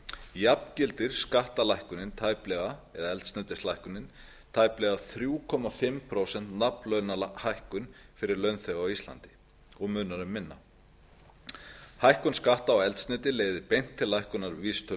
jafngildir skattalækkunin eða eldsneytislækkunin tæplega þrjú og hálft prósent nafnlaunahækkun fyrir launþega á íslandi og munar um minna lækkun skatta á eldsneyti leiðir beint til lækkunar vísitölu